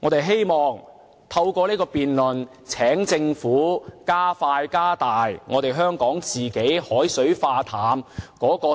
我則希望透過這場辯論請政府加快和加大香港的海水化淡、